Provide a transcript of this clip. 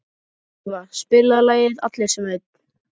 Elva, spilaðu lagið „Allir sem einn“.